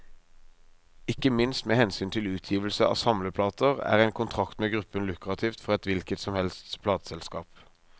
Ikke minst med hensyn til utgivelse av samleplater, er en kontrakt med gruppen lukrativt for et hvilket som helst plateselskap.